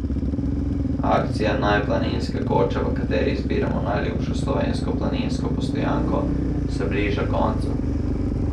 Akcija Naj planinska koča, v kateri izbiramo najljubšo slovensko planinsko postojanko, se bliža koncu.